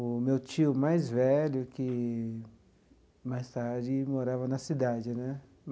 o meu tio mais velho, que mais tarde morava na cidade né.